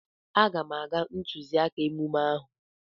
Aga m aga ntụziaka omume ahụ.